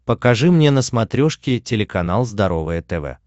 покажи мне на смотрешке телеканал здоровое тв